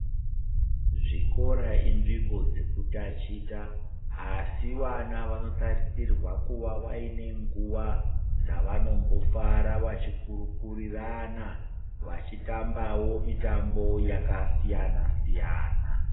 Zvikora inzvimbo dzeku tachita asi vana vano tarisirwa kuva vaine nguva dzavambo fara vachi kurukurirana vachi tambawo mitambo yaka siyana siyana.